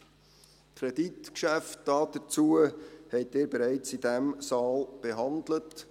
Die Kreditgeschäfte dazu haben Sie in diesem Saal bereits behandelt.